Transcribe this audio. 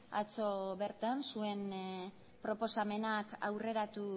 atzo bertan zuen proposamenak aurreratu